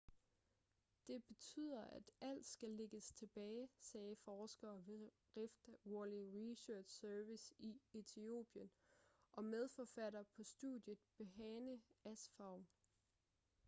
det betyder at alt skal lægges tilbage sagde forsker ved rift valley research service i etiopien og medforfatter på studiet berhane asfaw